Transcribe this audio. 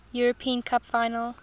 european cup final